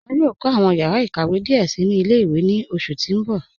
Wọn yòò kọ awọn yàrà ịkàwé díẹ sí ni ilẹ̀-ìwé ní oṣù tí n bọ̀.